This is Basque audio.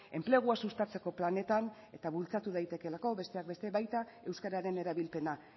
enplegua sustatzeko planetan eta bultzatu daitekeelako besteak beste baita euskararen erabilpena